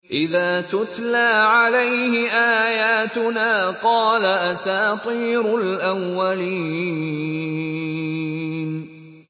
إِذَا تُتْلَىٰ عَلَيْهِ آيَاتُنَا قَالَ أَسَاطِيرُ الْأَوَّلِينَ